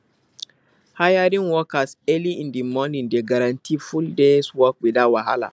hiring workers early in di morning dey guarantee full days work without wahala